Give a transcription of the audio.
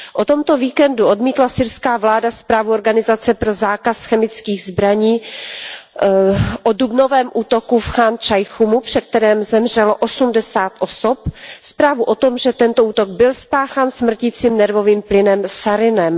O tomto víkendu odmítla syrská vláda zprávu Organizace pro zákaz chemických zbraní o dubnovém útoku v Chán Šajchúnu, při kterém zemřelo 80 osob, zprávu o tom, že tento útok byl spáchán smrtícím nervovým plynem sarinem.